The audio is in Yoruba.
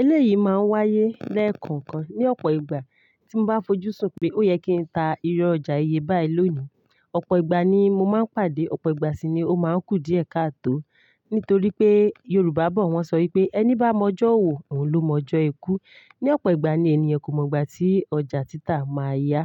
Eléyìí máa ń wáyé lẹ́ẹ̀kan kan ní ọ̀pọ̀ ìgbà. Tí mo bá fojúsùn pé ó yẹ kí n ta irú ọjà iyebáye lónìí, ọ̀pọ̀ ìgbà ni mo máa ń pàdé, ọ̀pọ̀ ìgbà sì ni ó máa ń kù díẹ̀ káàtò. Nítorí pé Yorùbá bọ̀ wọ́n ṣọ wí pé ẹni bá mọ ọjọ́ òwò, òun ló mọ ọjọ́ ikú. Ni ọ̀pọ̀ ìgbà ni ènìyàn kò mọ ìgbà tí ọjà títà máa yá.